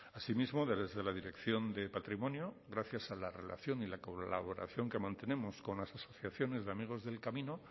asimismo desde la dirección de patrimonio gracias a la relación y la colaboración que mantenemos con las asociaciones de amigos del camino